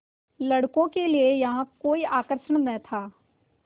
लड़कों के लिए यहाँ कोई आकर्षण न था